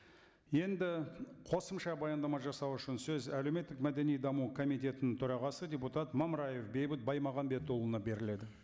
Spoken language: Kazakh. енді қосымша баяндама жасау үшін сөз әлеуметтік мәдени даму комитетінің төрағасы депутат мамыраев бейбіт баймағамбетұлына беріледі